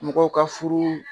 Mɔgɔw ka furu